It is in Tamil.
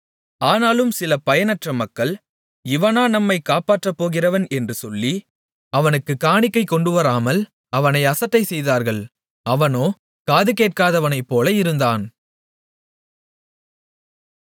ஆனாலும் சில பயனற்ற மக்கள் இவனா நம்மைக் காப்பாற்றப்போகிறவன் என்று சொல்லி அவனுக்குக் காணிக்கை கொண்டுவராமல் அவனை அசட்டைசெய்தார்கள் அவனோ காது கேட்காதவனைப்போல இருந்தான்